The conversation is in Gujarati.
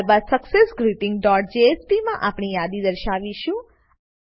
ત્યારબાદ સક્સેસગ્રીટિંગ ડોટ જેએસપી માં આપણે યાદી દર્શાવીશું